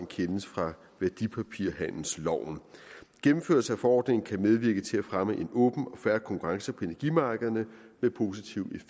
kendes fra værdipapirhandelsloven gennemførelse af forordningen kan medvirke til at fremme en åben og fair konkurrence på energimarkederne med positive